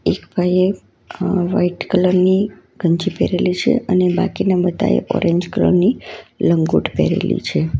એક ભાઈએ white colour ની ગંજી પહેરેલી છે અને બાકીના બધાએ ઓરેન્જ કલર ની લંગોટ પહેરેલી છે.